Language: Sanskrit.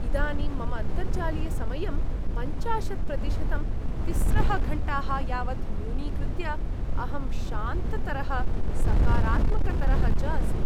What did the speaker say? इदानीं मम अन्तर्जालीयसमयं पञ्चाशत् प्रतिशतं तिस्रः घण्टाः यावत् न्यूनीकृत्य अहं शान्ततरः, सकारात्मकतरः च अस्मि।